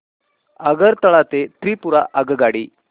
आगरतळा ते त्रिपुरा आगगाडी